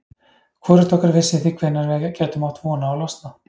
Hvorugt okkar vissi því hvenær við gætum átt von á að losna.